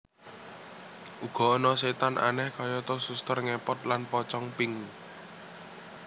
Uga ana setan aneh kayata suster ngepot lan pocong pink